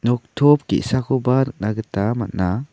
noktop ge·sakoba nikna gita man·a.